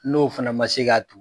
N'o fana ma se k'a tu